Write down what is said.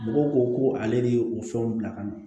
Mɔgɔw ko ko ale de ye o fɛnw bila ka na